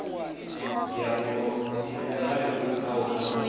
ya mulayo i bvaho kha